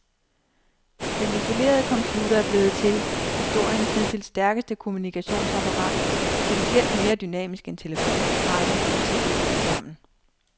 Den isolerede computer er blevet til historiens hidtil stærkeste kommunikationsapparat, potentielt mere dynamisk end telefon, radio og tv tilsammen.